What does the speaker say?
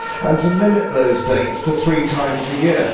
and to limit those dates to three times a year.